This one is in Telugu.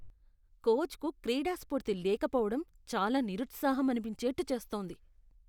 కోచ్కు క్రీడాస్ఫూర్తి లేకపోవడం చాలా నిరుత్సాహం అనిపించేట్టు చేస్తోంది.